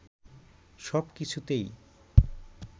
সব কিছুতেই